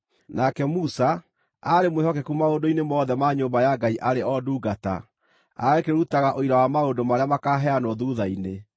Nake Musa, aarĩ mwĩhokeku maũndũ-inĩ mothe ma nyũmba ya Ngai arĩ o ndungata, agakĩrutaga ũira wa maũndũ marĩa makaaheanwo thuutha-inĩ.